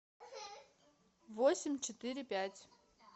восемь четыре пять